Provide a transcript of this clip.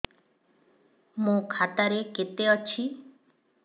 ମୋ ଖାତା ରେ କେତେ ଅଛି